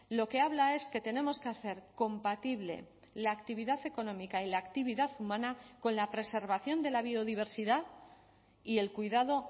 lo que habla es que tenemos que hacer compatible la actividad económica y la actividad humana con la preservación de la biodiversidad y el cuidado